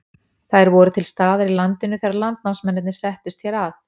Þær voru til staðar í landinu þegar landnámsmennirnir settust hér að.